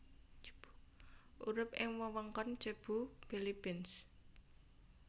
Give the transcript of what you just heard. Urip ing wewengkon Cebu Philippines